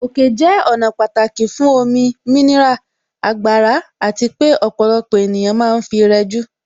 Òkè jẹ́ ọ̀nà pàtàkì fún omi, mineral, agbára àti pé ọ̀pọ̀lọpọ̀ ènìyàn ma ń fi rẹjú.